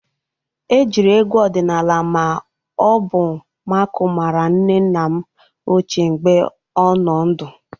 E jiri egwu ọdịnala ma ọ bụ nmakụ mara nne nne m ochie mgbe ọ nọ ndụ.